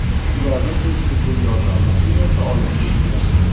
Ularni tez tibbiy yordam mashinasi olib ketgan.